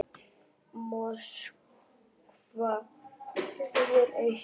Moskva hefur eitt.